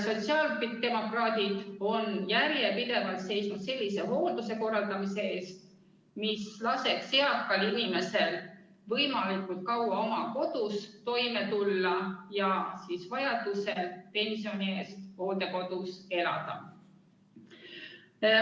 Sotsiaaldemokraadid on järjepidevalt seisnud sellise hoolduse korraldamise eest, mis laseks eakal inimesel võimalikult kaua oma kodus toime tulla ja siis vajaduse korral pensioni eest hooldekodus elada.